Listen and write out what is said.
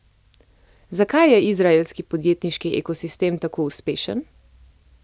Zakaj je izraelski podjetniški ekosistem tako uspešen?